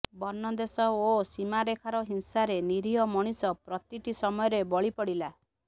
ବର୍ଣ୍ଣ ଦେଶ ଓ ସୀମାରେଖାର ହିଂସାରେ ନିରୀହ ମଣିଷ ପ୍ରତିଟି ସମୟରେ ବଳି ପଡ଼ିଲା